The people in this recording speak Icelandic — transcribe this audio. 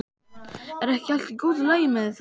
Er ekki allt í góðu lagi með það?